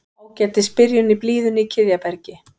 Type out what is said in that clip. Ágætis byrjun í blíðunni í Kiðjabergi